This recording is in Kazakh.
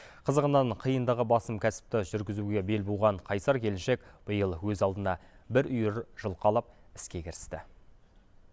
қызығынан қиындығы басым кәсіпті жүргізуге бел буған қайсар келіншек биыл өз алдына бір үйір жылқы алып іске кірісті